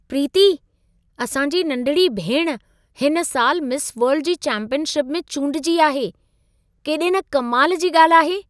प्रीती, असां जी नंढिड़ी भेण हिन सालि मिस वर्ल्ड जी चैम्पियनशिप में चूंडिजी आहे। केॾे न कमाल जी ॻाल्हि आहे।